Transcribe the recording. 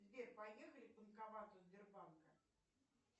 сбер поехали к банкомату сбербанка